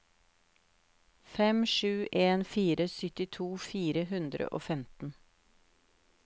fem sju en fire syttito fire hundre og femten